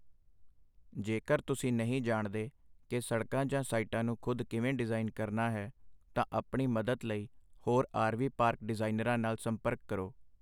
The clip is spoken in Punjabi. ਜੇਕਰ ਤੁਸੀਂ ਨਹੀਂ ਜਾਣਦੇ ਕਿ ਸੜਕਾਂ ਜਾਂ ਸਾਈਟਾਂ ਨੂੰ ਖੁਦ ਕਿਵੇਂ ਡਿਜ਼ਾਇਨ ਕਰਨਾ ਹੈ, ਤਾਂ ਆਪਣੀ ਮਦਦ ਲਈ ਹੋਰ ਆਰਵੀ ਪਾਰਕ ਡਿਜ਼ਾਈਨਰਾਂ ਨਾਲ ਸੰਪਰਕ ਕਰੋ।